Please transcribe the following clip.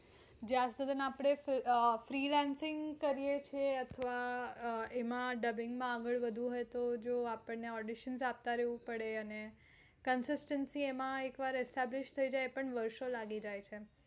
જ્યાં સુધી આપણે freelancing કરીયે છે અથવા એમાં dubbing માં આગળ વધવું હોય તો આપણે audition આપતા રેહવું પડે અને consistency establish થઇ જાય છે